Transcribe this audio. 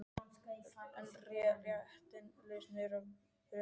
Er rétta lausnin að reka Willum?